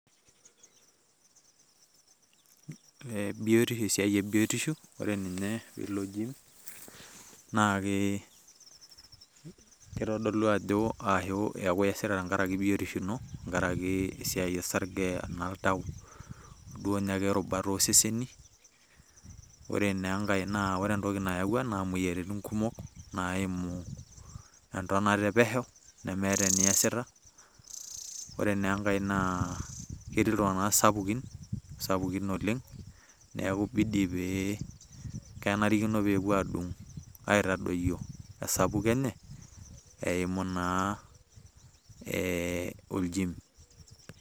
Biotisho esiai ebiotisho, ore ninye lijo naake, kitodolu ajo ashu ewesita tenkaraki biotisho ino, tenkaraki esiai osarge, oltau, duokenye orubat oseseni. Ore naa enkae ore entoki nayawua ena moyiaritin kumok naimu entonota epesho nimiata eniasita. Ore na enkae naa, ketii iltung'anak sapukin oleng' neeku kibidi pe kenarikino pepuo adung' aitadoyio esapuko enye, eimu naa eh oljiim.